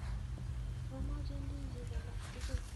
Mamache ndisik alak tugul